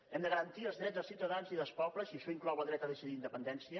hem de garantir els drets dels ciutadans i dels pobles i això inclou el dret a decidir la independència